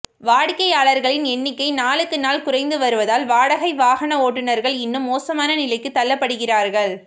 வாடிக்கையாளர்களின் எண்ணிக்கை நாளுக்கு நாள் குறைந்து வருவதால் வாடகை வாகன ஓட்டுநர்கள் இன்னும் மோசமான நிலைக்கு தள்ளப்படுகிறார்கள்